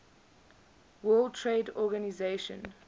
world trade organisation